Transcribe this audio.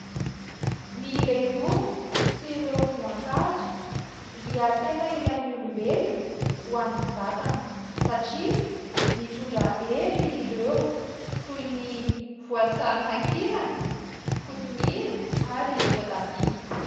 Ny legioma sy ireo voankazo dia tena ilain'ny olombelona ho an'ny vatana satria mitondra hery ireo, toy ny voasary makirana, kotomila ary voatabia.